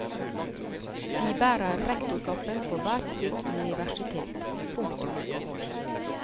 De bærer rektorkappen på hvert sitt universitet. punktum